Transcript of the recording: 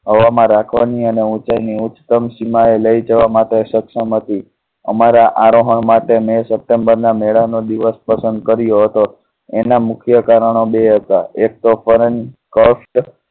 હવા માં રાખવા ની અને ઊંચાઈ ની ઉચ્ચ તમ સીમા લઈ જવા માટે સક્ષમ હતી અમારા આરોહણ માટે મી સપ્ટેમ્બર ના મેળા નો દિવસ પસંદ કર્યો હતો. એનાં મુખ્ય કારણો બે હતાં. એક તો